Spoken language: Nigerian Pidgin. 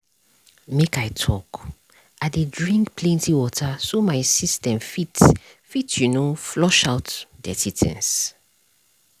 make i talk- i dey drink plenty water so my system fit fit you know flush out dirty things